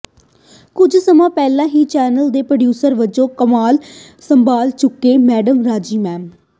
ਕੁੱਝ ਸਮਾਂ ਪਹਿਲਾਂ ਹੀ ਚੈਨਲ ਦੇ ਪ੍ਰੈਜ਼ੀਡੈਂਟ ਵਜੋਂ ਕਮਾਨ ਸੰਭਾਲ ਚੁੱਕੇ ਮੈਡਮ ਰਾਜੀ ਐਮ